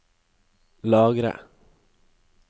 lagre